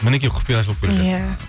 мінекей құпия ашылып келе жатыр иә